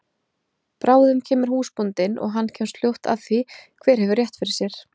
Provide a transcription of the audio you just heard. Bráðum kemur húsbóndinn og hann kemst fljótt að því hver hefur rétt fyrr sér!